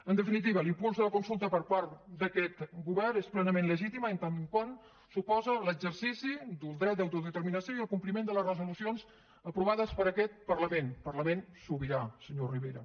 en definitiva l’impuls de la consulta per part d’aquest govern és plenament legitima en tant que suposa l’exercici del dret d’autodeterminació i el compli ment de les resolucions aprovades per aquets parlament parlament sobirà senyor rivera